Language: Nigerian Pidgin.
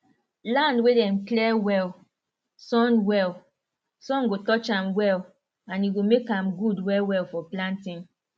land wey dem clear well sun well sun go touch am well and e go make am good well well for planting